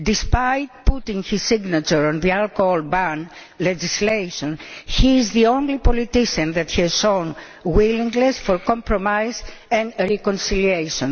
Despite putting his signature on the alcohol ban legislation, he is the only politician that has shown willingness for compromise and reconciliation.